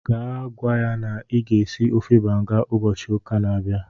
Gaa gwa ya na ọ ga-esi ofe banga ụbọchị ụka a na-abịa